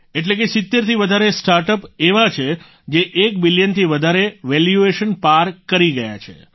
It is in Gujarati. એટલે કે 70થી વધારે સ્ટાર્ટઅપ એવા છે જે 1 બિલિયનથી વધારે વેલ્યુએશન પાર કરી ગયા છે